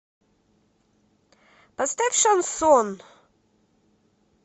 поставь шансон